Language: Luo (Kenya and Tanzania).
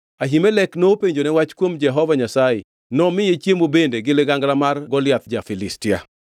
Ahimelek nopenjone wach kuom Jehova Nyasaye, nomiye chiemo bende gi ligangla mar Goliath ja-Filistia.”